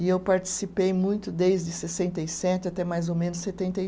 E eu participei muito desde sessenta e sete até mais ou menos setenta e